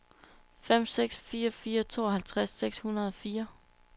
fem seks fire fire tooghalvtreds seks hundrede og fire